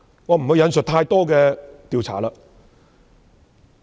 我不會引述太多調查。